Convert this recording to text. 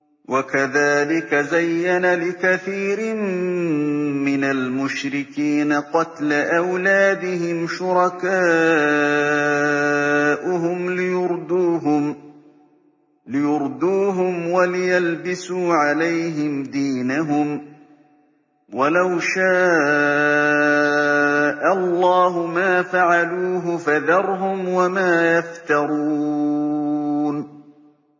وَكَذَٰلِكَ زَيَّنَ لِكَثِيرٍ مِّنَ الْمُشْرِكِينَ قَتْلَ أَوْلَادِهِمْ شُرَكَاؤُهُمْ لِيُرْدُوهُمْ وَلِيَلْبِسُوا عَلَيْهِمْ دِينَهُمْ ۖ وَلَوْ شَاءَ اللَّهُ مَا فَعَلُوهُ ۖ فَذَرْهُمْ وَمَا يَفْتَرُونَ